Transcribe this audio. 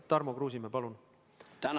Tarmo Kruusimäe, palun!